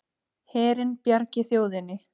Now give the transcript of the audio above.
Herinn bjargi þjóðinni